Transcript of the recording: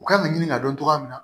U kan ka ɲini ka dɔn cogoya min na